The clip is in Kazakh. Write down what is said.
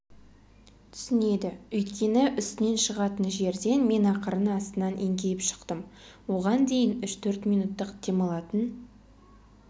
түсінеді өйткені үстінен шығатын жерден мен ақырын астынан еңкейіп шықтым оған дейін үш-төрт минуттық демалатын